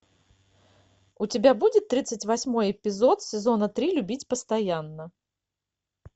у тебя будет тридцать восьмой эпизод сезона три любить постоянно